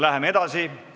Läheme edasi.